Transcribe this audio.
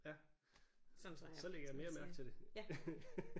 Ja så lægger jeg mere mærke til det